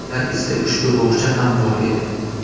Ular ichida ushbu bog‘cha ham bor edi.